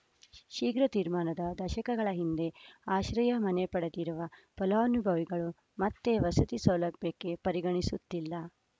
ಶೀಘ್ರ ತೀರ್ಮಾನದ ದಶಕಗಳ ಹಿಂದೆ ಆಶ್ರಯ ಮನೆ ಪಡೆದಿರುವ ಫಲಾನುಭವಿಗಳು ಮತ್ತೆ ವಸತಿ ಸೌಲಭ್ಯಕ್ಕೆ ಪರಿಗಣಿಸುತ್ತಿಲ್ಲ